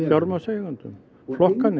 fjármagnseigendum og